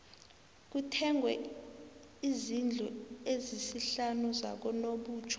kuthengwe izndlu ezisihlanu zakanobutjho